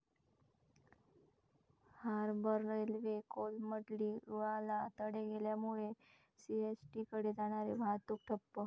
harbour railway कोलमडली, रुळाला तडे गेल्यामुळे सीएसटीकडे जाणारी वाहतूक ठप्प